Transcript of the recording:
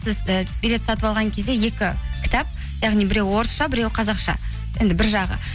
сіз і билет сатып алған кезде екі кітап яғни біреуі орысша біреуі қазақша енді бір жағы